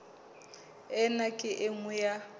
ena ke e nngwe ya